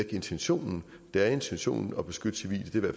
intentionen det er intentionen at beskytte civile